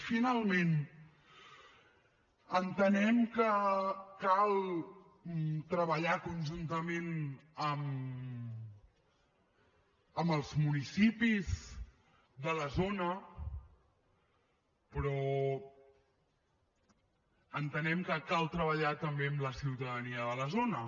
i finalment entenem que cal treballar conjuntament amb els municipis de la zona però entenem que cal treballar també amb la ciutadania de la zona